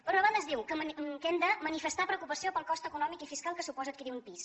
per una banda es diu que hem de manifestar preocupació pel cost econòmic i fiscal que suposa adquirir un pis